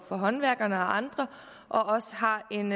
for håndværkerne og andre og også har en